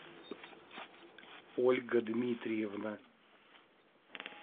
ольга дмитриевна